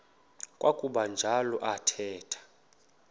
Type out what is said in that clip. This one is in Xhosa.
kwakuba njalo athetha